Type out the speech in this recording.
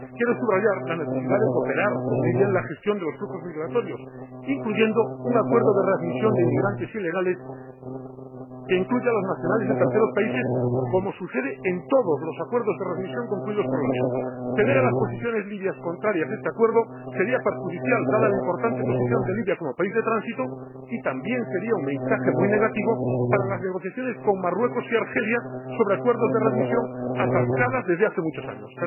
Quiero subrayar la necesidad de cooperar con Libia en la gestión de los flujos migratorios, incluyendo un acuerdo de readmisión de inmigrantes ilegales que incluya a los nacionales de terceros países, como sucede en todos los acuerdos de readmisión concluidos por la Unión. Ceder a las posiciones libias contrarias a este acuerdo sería perjudicial dada la importante posición de Libia como país de tránsito y también sería un mensaje muy negativo para las negociaciones con Marruecos y Argelia sobre acuerdos de readmisión, atascadas desde hace muchos años.